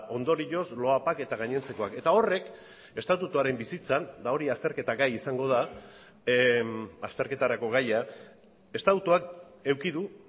ondorioz loapak eta gainontzekoak eta horrek estatutuaren bizitzan eta hori azterketagai izango da azterketarako gaia estatutuak eduki du